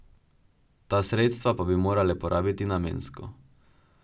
Ta sredstva pa bi morale porabiti namensko.